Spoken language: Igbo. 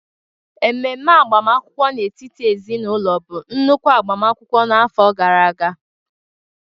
Ememe agbamakwụkwọ n'etiti ezinaụlọ bụ nnukwu agbamakwụkwọ n'afọ gara aga